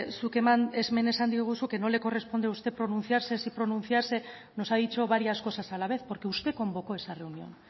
zuk hemen esan diguzu que no le corresponde a usted pronunciarse si pronunciarse nos ha dicho varias cosas a la vez porque usted convocó esa reunión